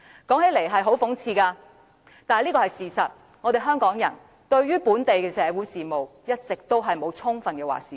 說起來很諷刺，但這是事實，香港人對本地的社會事務一直沒有充分的"話事權"。